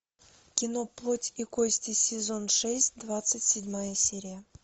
кино плоть и кости сезон шесть двадцать седьмая серия